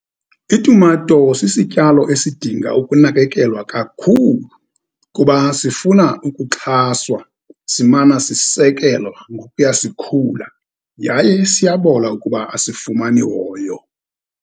Itumato sisityalo esidinga ukunakekelwa kakhulu, kuba sifuna ukuxhaswa, simane sisekelwa ngokuya sikhula, yaye siyabola ukuba asifumani hoyo.